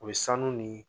U bɛ sanu ni